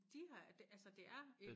De har det altså det er en